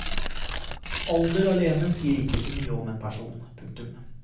Alder alene sier ikke så mye om en person. punktum